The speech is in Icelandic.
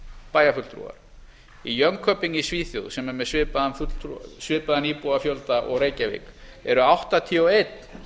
bæjarfulltrúar í jönköping i svíþjóð sem er með svipaðan íbúafjölda og reykjavík eru áttatíu og einn